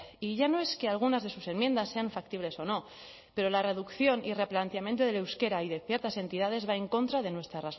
y ya no es que algunas de sus enmiendas sean factibles o no pero la reducción y replanteamiento del euskera y de ciertas entidades va en contra de nuestra